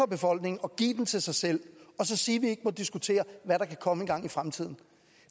befolkningen og give den til sig selv og så sige ikke må diskutere hvad der kan komme engang i fremtiden